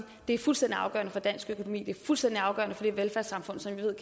det er fuldstændig afgørende for dansk økonomi at det er fuldstændig afgørende for det velfærdssamfund som jeg ved